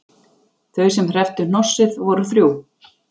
Þau sem hrepptu hnossið voru þrjú